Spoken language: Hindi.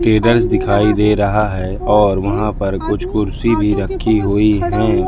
टेरस दिखाई दे रहा है और वहां पर कुछ कुर्सी भी रखी हुई है।